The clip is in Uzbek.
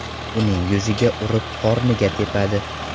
Uning yuziga urib, qorniga tepadi.